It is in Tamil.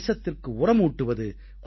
தேசத்திற்கு உரமூட்டுவது